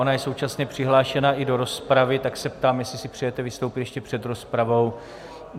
Ona je současně přihlášena i do rozpravy, tak se ptám, jestli si přejete vystoupit ještě před rozpravou.